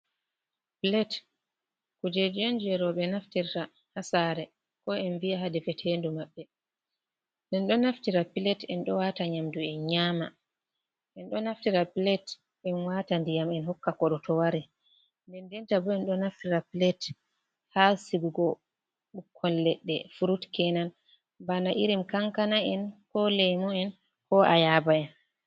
Plate kujeji on je roɓɓe naftirta ha sare ko en viya ha defetendu maɓɓe, en ɗo naftira plate en ɗo wata nyamdu en nyama, en ɗo naftira plate en wata ndiyam en hokka koɗɗo to wari, nden denta bo en ɗo naftira plate ha sigugo ɓukkon ledde frut kenan, bana irin kankana en, ko leymu'en, ko a yaba en.